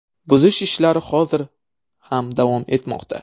Buzish ishlari hozir ham davom etmoqda.